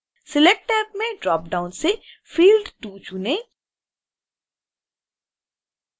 select tab में dropdown से field 2 चुनें